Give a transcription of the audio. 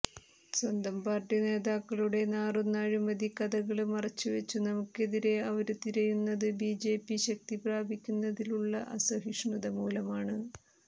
സ്വന്തം പാര്ട്ടി നേതാക്കളുടെ നാറുന്ന അഴിമതി കഥകള് മറച്ചുവെച്ചു നമുക്കെതിരെ അവര് തിരിയുന്നതു ബിജെപി ശക്തി പ്രാപിക്കുന്നതിലുള്ള അസഹിഷ്ണുത മൂലമാണ്